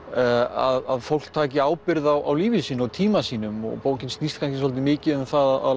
að fólk taki ábyrgð á lífi sínu og tíma sínum og bókin snýst kannski dálítið mikið um það að